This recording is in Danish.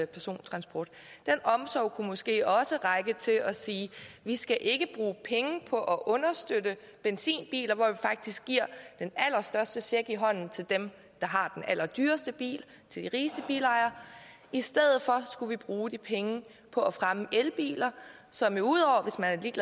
persontransport den omsorg kunne måske også række til at sige vi skal ikke bruge penge på at understøtte benzinbiler hvor vi faktisk giver den allerstørste check i hånden til dem der har den allerdyreste bil til de rigeste bilejere i stedet for skulle vi bruge de penge på at fremme elbiler som jo ud over